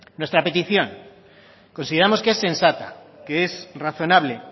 nuestra petición consideramos que es sensata que es razonable